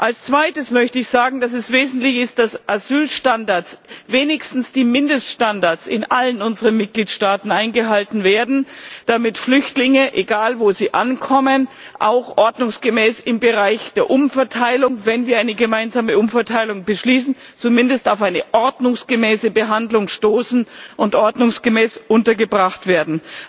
Als zweites möchte ich sagen, dass es wesentlich ist, dass Asylstandards, wenigstens die Mindeststandards, in allen unseren Mitgliedstaaten eingehalten werden, damit Flüchtlinge egal wo sie ankommen, auch im Bereich der Umverteilung wenn wir eine gemeinsame Umverteilung beschließen zumindest auf eine ordnungsgemäße Behandlung stoßen und ordnungsgemäß untergebracht werden.